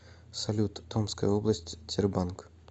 салют томская область тербанк